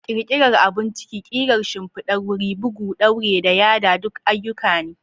Ƙirƙirar abun ciki, ƙirar shimfidar wuri, bugu, ɗaure, da yada duk ayyuka ne.